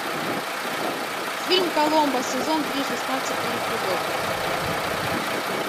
фильм коломбо сезон три шестнадцатый эпизод